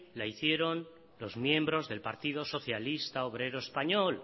la hicieron los miembros del partido socialista obrero español